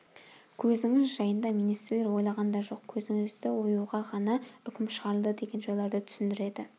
көзіңіз жайында министрлер ойлаған да жоқ көзіңізді оюға ғана үкім шығарылды деген жайларды түсіндіреді